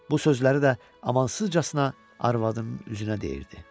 Bu sözləri də amansızcasına arvadının üzünə deyirdi.